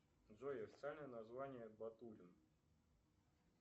джой официальное название батурин